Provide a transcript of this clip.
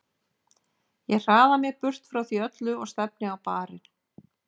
Ég hraða mér burt frá því öllu og stefni á barinn.